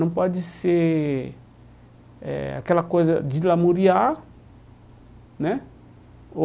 Não pode ser eh aquela coisa de glamouriar, né?